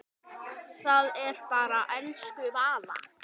Það er bara elsku Vala.